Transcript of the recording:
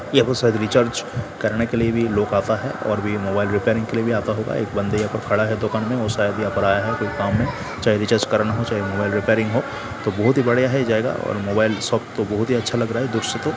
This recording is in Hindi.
यहां पे शायद रिचार्ज करने के लिए भी लोग आता है और भी मोबाइल रिपेयरिंग के लिए भी आता होगा एक बंदे यहां पे खड़े है दुकान में वो शायद यहां पर आया है कोई काम में चाहे रिचार्ज कराना हो चाहे मोबाइल रिपेयरिंग हो तो बहुत ही बढ़िया है जगह और मोबाइल शॉप तो बहुत ही अच्छा लग रहा है दोस्तो।